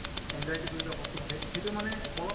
anxiety বুলি কোৱা বস্তু থাকে সেইটো মানে অলপ